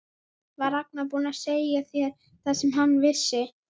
Var Ragnar búinn að segja þér það sem hann vissi?